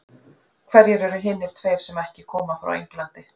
Hverjir eru hinir tveir sem ekki koma frá Englandi?